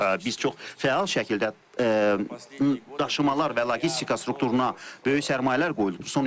Biz çox fəal şəkildə daşımalar və logistika strukturuna böyük sərmayələr qoyduq.